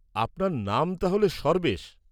-আপনার নাম তাহলে সর্বেশ।